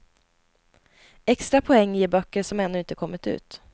Extra poäng ger böcker som ännu inte kommit ut.